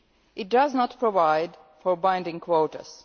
It does not provide for binding quotas.